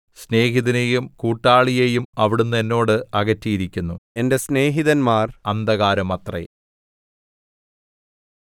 സ്നേഹിതനെയും കൂട്ടാളിയെയും അവിടുന്ന് എന്നോട് അകറ്റിയിരിക്കുന്നു എന്റെ സ്നേഹിതന്മാർ അന്ധകാരമത്രേ